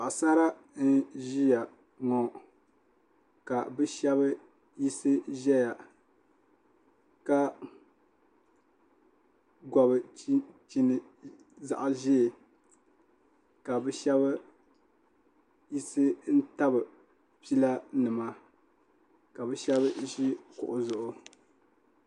paɣasara n ʒiya ŋɔ ka bi shab yisi ʒɛya ka gobi chinchini zaɣ ʒiɛ ka bi shab ʒi n tabi pila nima ka bi shab ʒi kuɣu zuɣu